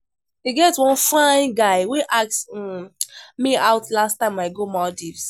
E get one fine guy wey ask um me out the last time I go Maldives